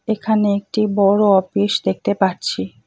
এখানে একটি বড় অফিস দেখতে পারছি।